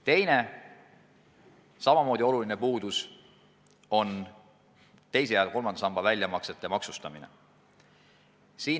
Teine, samamoodi suur puudus on teise ja kolmanda samba väljamaksete maksustamine.